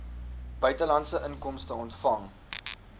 buitelandse inkomste ontvang